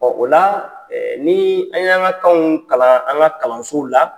Ɔn o la ni an yan ka kanw kalan an ka kalansow la